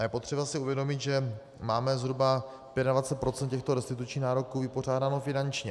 A je potřeba si uvědomit, že máme zhruba 25 % těchto restitučních nároků vypořádáno finančně.